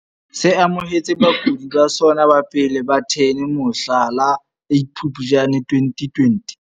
Se amohetse bakudi ba sona ba pele ba 10 mohla la 8 Phuptjane 2020.